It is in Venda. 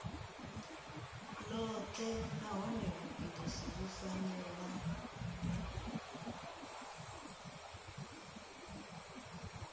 ḽoṱhe nahone vhugudisi vhu fanela